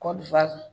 Kɔkɔli